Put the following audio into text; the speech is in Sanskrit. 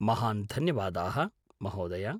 महान् धन्यवादाः, महोदय।